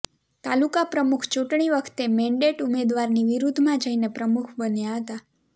તાલુકા પ્રમુખ ચૂંટણી વખતે મેન્ડેટ ઉમેદવારની વિરુદ્ધમાં જઈને પ્રમુખ બન્યા હતા